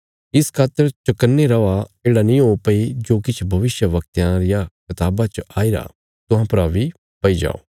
इस खातर चकन्ने रौआ येढ़ा नीं हो भई जो किछ भविष्यवक्तयां रियां कताबा च आईरा तुहां परा बी पई जाओ